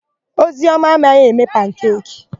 Ozioma amaghị eme pankeki.